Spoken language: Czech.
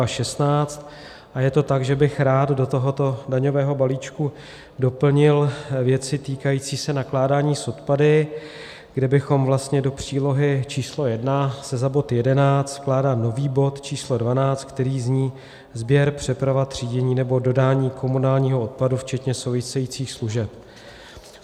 A je to tak, že bych rád do tohoto daňového balíčku doplnil věci týkající se nakládání s odpady, kde bychom vlastně, do přílohy číslo 1 se za bod 11 vkládá nový bod číslo 12, který zní: "sběr, přeprava, třídění nebo dodání komunálního odpadu včetně souvisejících služeb".